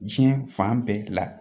Diɲɛ fan bɛɛ la